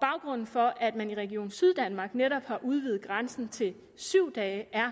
baggrunden for at man i region syddanmark netop har udvidet grænsen til syv dage er